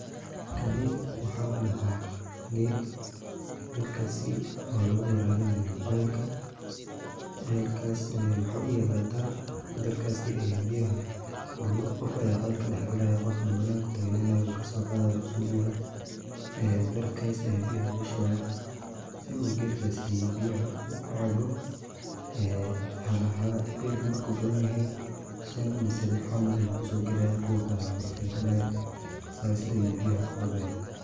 Kani waxa ladhaha gel, gelkaasi oo laga warabinayo celka, celkas waxa u yaala dar, darkaasi aya biyaha qof aya celka dhax gelaya qof bananka ayuu tagnaanaya wuu kaso qadaya wuu uso dhiibaya ee darkas aya biyaha lugu shubaya si uu gelkaasi biyaha kucabo, hala hala, gelka marku badan yahay shan mise lix camal ayu kuso gelaya kuwa kale waa la istajinaya sas ayu biyaha kucabaya